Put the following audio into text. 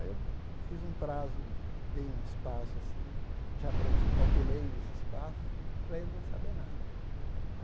Aí eu fiz um prazo, dei um espaço assim, já pre calculei os espaços para ele não saber nada.